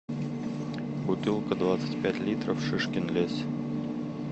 бутылка двадцать пять литров шишкин лес